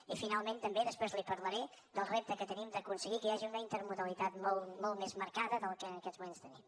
i finalment també després li parlaré del repte que tenim d’aconseguir que hi hagi una intermodalitat molt més marcada del que en aquests moments tenim